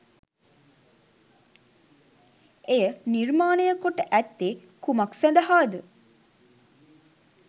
එය නිර්මාණය කොට ඇත්තේ කුමක් සදහාද